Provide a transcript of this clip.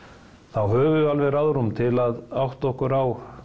þá höfum við alveg ráðrúm til að átta okkur á